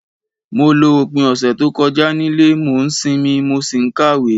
Mo lo opín ọ̀sẹ̀ to kojá nílé, mo n sinmí, mo si n kàwé